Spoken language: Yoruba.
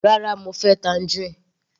Rárá, mo fẹ́ tangerine.